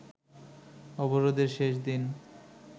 অবরোধের শেষ দিন